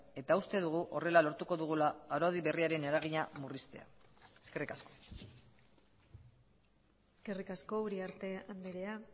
eta uste dugu horrela lortuko dugula araudi berriaren eragina murriztea eskerrik asko eskerrik asko uriarte andrea